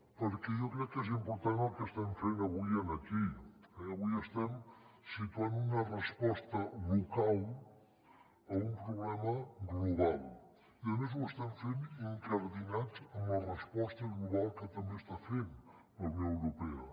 perquè jo crec que és important el que estem fent avui aquí eh avui estem situant una resposta local a un problema global i a més ho estem fent incardinats en la resposta global que també està fent la unió europea